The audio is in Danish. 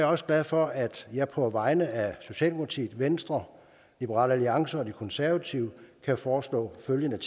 også glad for at jeg på vegne af socialdemokratiet venstre liberal alliance og de konservative kan foreslå følgende